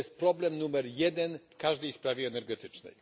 To jest problem numer jeden w każdej sprawie energetycznej.